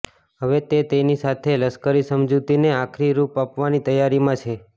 હવે તે તેની સાથે લશ્કરી સમજૂતીને આખરી રૂપ આપવાની તૈયારીમાં છે